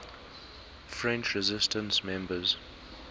french resistance members